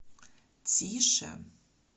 тише